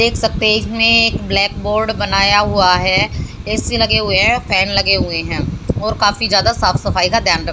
देख सकते इसमें एक ब्लैक बोर्ड बनाया हुआ है ए_सी लगे हुए हैं फैन लगे हुए हैं और काफी ज्यादा साफ सफाई का ध्यान--